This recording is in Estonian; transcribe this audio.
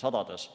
sadades.